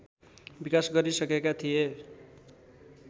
विकास गरिसकेका थिए